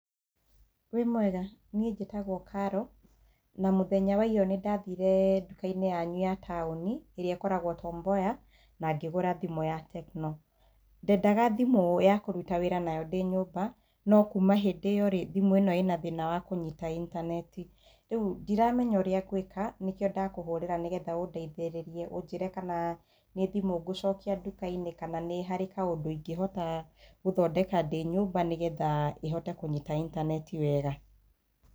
Wĩ mwega, nie njĩtagwo Carol, na mũthenya wa iyo nĩndathire nduka-inĩ yanyu ya taũni ĩrĩ ĩkoragwo Tom Mboya na ngĩgũra thimũ ya Tecno. Ndendaga thimũ ya kũruta wĩra nayo ndĩ nyũmba, no kuma hĩndĩ ĩyo rĩ thimũ ĩno ĩna thĩna wa kũnyita intaneti. Rĩu ndiramenya ũrĩa ngwĩka nĩkĩo ndakũhũrĩra nĩgetha ũndeithĩrĩrie ũnjĩre kana nĩ thimũ ngũcokia nduka-inĩ kana nĩ harĩ kaũndũ ingĩhota gũthondeka ndĩ nyũmba nĩgetha ĩhote kũnyita intaneti wega.